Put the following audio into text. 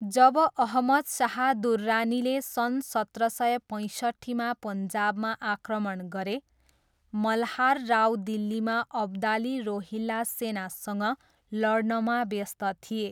जब अहमद शाह दुर्रानीले सन् सत्र सय पैँसट्ठीमा पन्जाबमा आक्रमण गरे, मल्हार राव दिल्लीमा अब्दाली रोहिल्ला सेनासँग लड्नमा व्यस्त थिए।